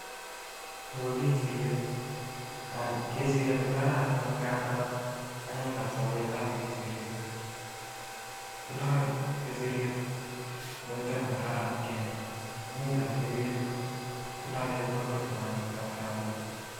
Nii ko.kechiryet kechiryet kokararan mising tindai muito negararan mising ingeeny ako tindoi chepkondok chechang ngealda